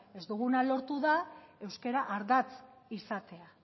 ez duguna lortu da euskara ardatz izatea